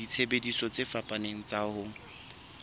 disebediswa tse fapaneng tsa ho